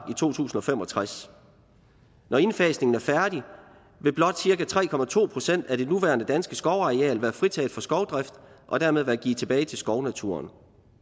to tusind og fem og tres når indfasningen er færdig vil blot cirka tre procent af det nuværende danske skovareal være fritaget for skovdrift og dermed være givet tilbage til skovnaturen